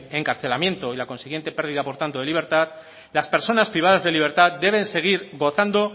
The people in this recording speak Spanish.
encarcelamiento y la consiguiente pérdida por tanto de libertad las personas privadas de libertad deben seguir gozando